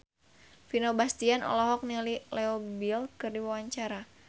Vino Bastian olohok ningali Leo Bill keur diwawancara